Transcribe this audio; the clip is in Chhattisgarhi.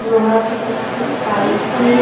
लोहा के छोटे-छोटे पाइप हे।